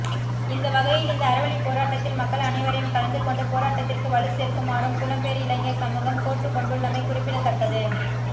இந்த வகையில் இந்த அறவழிப்போராட்டத்தில் மக்கள் அனைவரையும் கலந்துகொண்டு போராட்டத்திற்கு வலுச் சேர்க்குமாறும் புலம்பெயர் இளைஞர் சமூகம் கோட்டுக்கொண்டுள்ளமை குறிப்பிடத்தக்கது